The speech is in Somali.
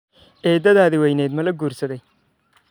Eedadada weyneyd mala guursaday?